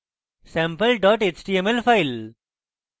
sample dot html file